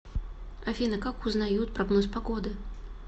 афина как узнают прогноз погоды